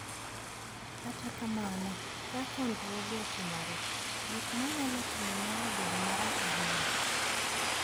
Kata kamano, ka chandruoge otimore, gik ma nyalo timore nyalo bedo marach ahinya.